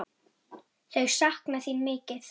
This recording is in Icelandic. Þau sakna þín mikið.